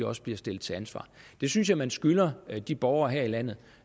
også bliver stillet til ansvar det synes jeg man skylder de borgere her i landet